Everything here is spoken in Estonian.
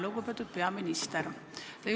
Lugupeetud peaminister!